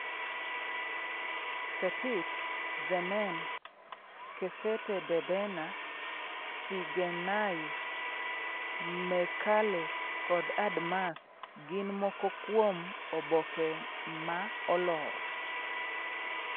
Setit, Zemen, Kesete-Debena, Tsigenay, Meqaleh kod Admas gin moko kuom oboke ma olor.